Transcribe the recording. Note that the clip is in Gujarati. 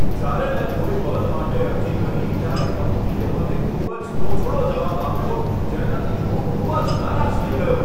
જ્યારે મેં કોઈ પદ માટે અરજી કરી, ત્યારે કંપનીએ મને ખૂબ જ તોછડો જવાબ આપ્યો, જેનાથી હું ખૂબ જ નારાજ થઈ ગયો.